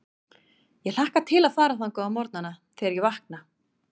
Ég hlakka til að fara þangað á morgnana, þegar ég vakna.